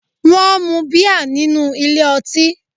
Wón mu bíà nínú ilé ọtí